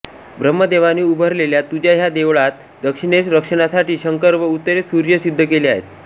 ब्रम्हदेवाने उभारलेल्या तुझ्या ह्या देवळात दक्षिणेस रक्षणासाठी शंकर व उत्तरेला सूर्य सिद्ध केले आहे